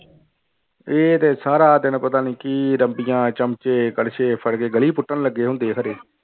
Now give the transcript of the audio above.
ਇਹ ਤੇ ਸਾਰਾ ਤੈਨੂੰ ਪਤਾ ਨੀ ਕੀ ਰੰਬੀਆਂ ਚਮਚੇ ਕੜਸੇ ਫੜਕੇ ਗਲੀ ਪੁੱਟਣ ਲੱਗੇ ਹੁੰਦੇ ਖਰੇ।